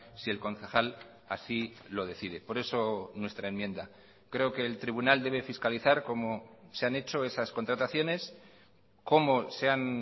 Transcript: si el concejal así lo decide por eso nuestra enmienda creo que el tribunal debe fiscalizar cómo se han hecho esas contrataciones cómo se han